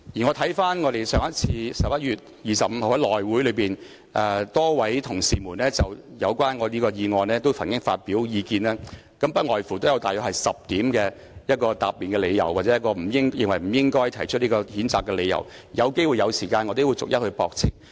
我留意到在11月25日的內務委員會會議上，多位同事曾就我這項議案發表意見，不外乎約有10點答辯理由或認為不應提出譴責的理由，當我有機會和時間時亦會逐一駁斥。